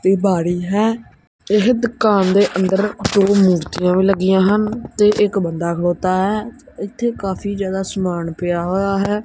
ਤੇ ਬਾਰੀ ਹੈ ਏਹ ਦੁਕਾਨ ਦੇ ਅੰਦਰ ਮੂਰਤੀਆਂ ਵੀ ਲੱਗਿਆਂ ਹਨ ਤੇ ਇੱਕ ਬੰਦਾ ਖਲੌਤਾ ਹੈ ਏੱਥੇ ਕਾਫੀ ਜਿਆਦਾ ਸਮਾਨ ਪਿਆ ਹੋਇਆ ਹੈ।